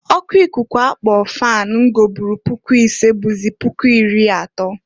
O ku ikuku a na akpọ fan m goburu puku isee bụzị puku iri atọọ.